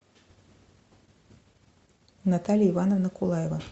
наталья ивановна кулаева